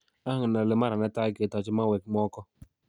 Angen ale mara netai kotoche mauek Mwoko